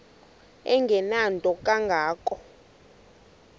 engenanto kanga ko